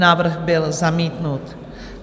Návrh byl zamítnut.